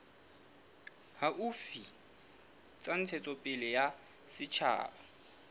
haufi tsa ntshetsopele ya setjhaba